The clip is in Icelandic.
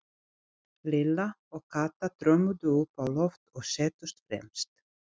Lilla og Kata þrömmuðu upp á loft og settust fremst.